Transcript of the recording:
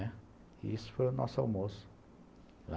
E isso foi o nosso almoço.